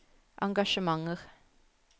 engasjementer